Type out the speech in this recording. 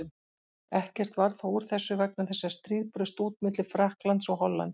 Ekkert varð þó úr þessu vegna þess að stríð braust út milli Frakklands og Hollands.